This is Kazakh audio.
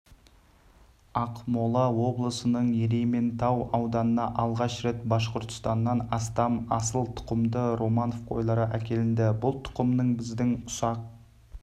ақмола облысының ерейментау ауданына алғаш рет башқұрстаннан астам асылтұқымды романов қойлары әкелінді бұл тұқымның біздің ұсақ